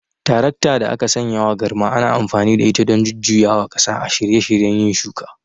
Tarakta da aka sanyawa garma ana amfani da ita don jujjuyawa ƙasa a shirye shiryen yin shuka.